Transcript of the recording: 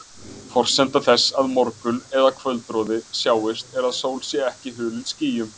Forsenda þess að morgun- eða kvöldroði sjáist er að sól sé ekki hulin skýjum.